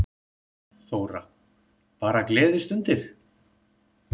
Þóra: Bara gleðistundir?